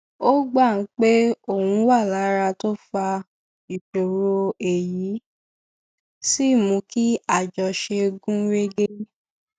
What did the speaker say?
ó gbà pé òun wà lára tó fa ìṣòro èyí sì mú kí àjọṣe gún régé